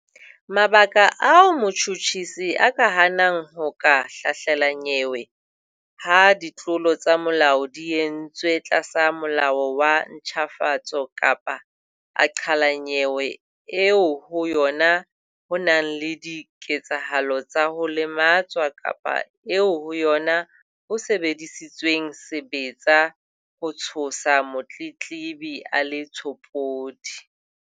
Mabaka ao motjhutjhisi a ka hanang ho ka hlahlela nyewe ha ditlolo tsa molao di entswe tlasa Molao wa ntjhafatso kapa a qhala nyewe eo ho yona ho nang le dike-tsahalo tsa ho lematswa kapa eo ho yona ho sebedisitsweng sebetsa ho tshosa motletlebi a le tshopodi.